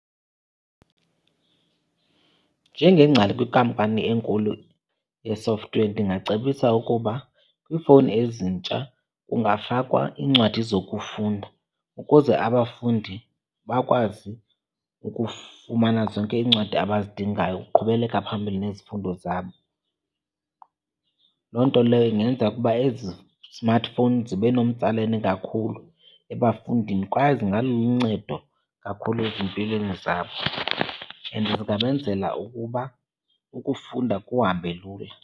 Njengengcali kwikampani enkulu ye-software ndingacebisa ukuba kwiifowuni ezintsha kungafakwa iincwadi zokufunda ukuze abafundi bakwazi ukufumana zonke iincwadi abazidingayo ukuqhubeleka phambili nezifundo zabo. Loo nto leyo ingenza ukuba ezi smartphone zibe nomtsalane kakhulu ebafundini kwaye zingaluncedo kakhulu ezimpilweni zabo, and zingabenzela ukuba ukufunda kuhambe lula.